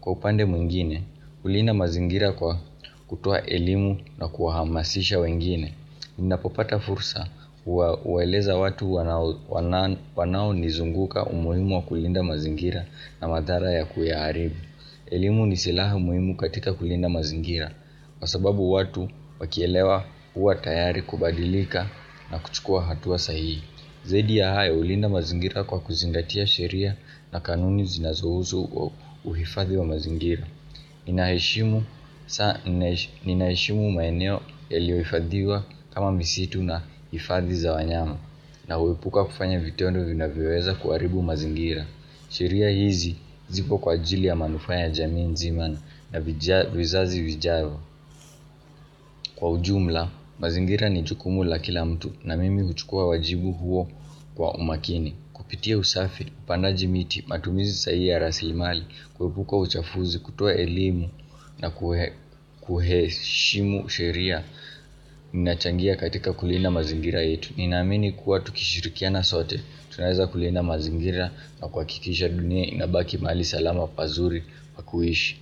Kwa upande mwingine, hulinda mazingira kwa kutoa elimu na kuhamasisha wengine. Ninapopata fursa uwaeleza watu wanao nizunguka umuhimu wa kulinda mazingira na madhara ya kuyaaribu elimu ni silaha muhimu katika kulinda mazingira Kwa sababu watu wakielewa huwa tayari kubadilika na kuchukua hatua sahihi Zaidi ya hayo hulinda mazingira kwa kuzingatia sheria na kanuni zinazuhusu uhifadhi wa mazingira Ninaheshimu maeneo yaliyohifadhiwa kama misitu na hifadhi za wanyama Naepuka kufanya vitendo vinavyoweza kuharibu mazingira sheria hizi zipo kwa ajili ya manufaa ya jamii nzima na vizazi vijavyo kwa ujumla mazingira ni jukumu la kila mtu na mimi huchukua wajibu huo kwa umakini. Kupitia usafi, upandaji miti, matumizi sahihi ya raslimali, kuepuka uchafuzi, kutoa elimu na kuheshimu sheria Ninachangia katika kulinda mazingira yetu Ninaamini kuwa tukishirikiana sote tunaweza kulinda mazingira na kwa kuhakikisha dunia inabaki mahali salama pazuri pa kuishi.